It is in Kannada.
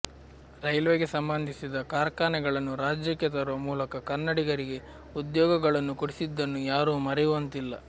ರೈಲ್ವೆ ಗೆ ಸಂಬಂಧಿಸಿದ ಕಾರ್ಖಾನೆಗಳನ್ನು ರಾಜ್ಯಕ್ಕೆ ತರುವ ಮೂಲಕ ಕನ್ನಡಿಗರಿಗೆ ಉದ್ಯೋಗಗಳನ್ನು ಕೊಡಿಸಿದ್ದನ್ನು ಯಾರೂ ಮರೆಯುವಂತಿಲ್ಲ